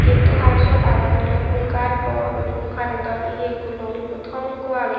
gate o hay sut agon ole fhool gaj bor guri ekku current o lor ekku thom ekku agey.